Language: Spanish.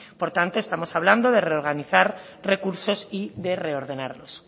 por tanto estamos hablando de reorganizar recursos y de reordenarlos